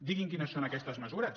diguin quines són aquestes mesures